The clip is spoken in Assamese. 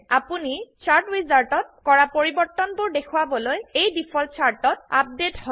আপোনি চাৰ্ট উইজাৰ্ডত কৰা পৰিবৰ্তনবোৰ দেখোৱাবলৈ এই ডিফল্ট চাৰ্টত আপডেট হয়